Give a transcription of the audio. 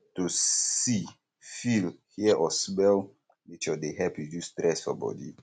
to see feel hear or smell nature de help reduce stress for body